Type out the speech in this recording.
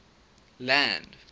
land